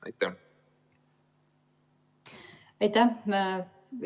Aitäh!